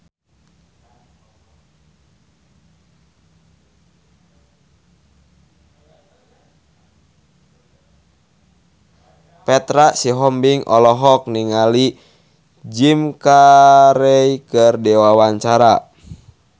Petra Sihombing olohok ningali Jim Carey keur diwawancara